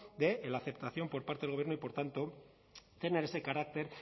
de la aceptación por parte del gobierno y por tanto tener ese carácter